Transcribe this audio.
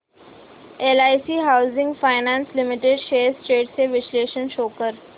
LIC housing finance limited shares trends चे विश्लेषण show कर